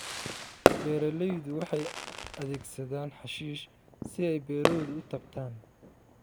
Beeraleydu waxay adeegsadaan xashiish si ay beerahooda u taabtaan.